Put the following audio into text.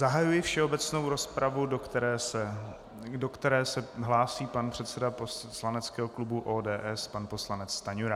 Zahajuji všeobecnou rozpravu, do které se hlásí pan předseda poslaneckého klubu ODS pan poslanec Stanjura.